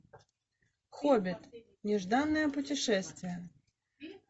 хоббит нежданное путешествие